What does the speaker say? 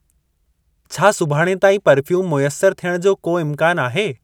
छा सुभाणे ताईं पर्फ़्यूम मयसर थियणु जो को इम्कान आहे?